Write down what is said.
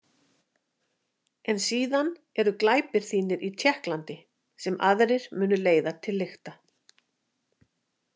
En síðan eru glæpir þínir í Tékklandi sem aðrir munu leiða til lykta.